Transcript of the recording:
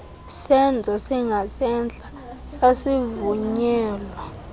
senzo singasentla sasivunyelwa